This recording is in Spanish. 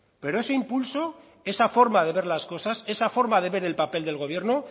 pero ese impulso esa forma de ver las cosas esa forma de ver el papel del gobierno